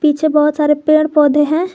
पीछे बहोत सारे पेड़ पौधे हैं।